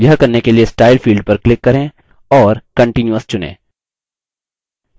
यह करने के लिए style field पर click करें और continuous चुनें